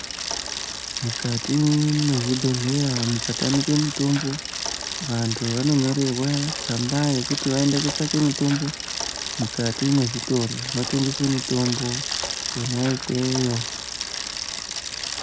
Mukati mwezvibhedhleya mukatamike mutombo, vanthu vanonyorerwa tsamba yekuti vaende kotsvake mutombo mukati mwezvitoro zvinotengese mutombo Kona ikweyo.